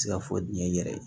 Se ka fɔ diɲɛ yɛrɛ ye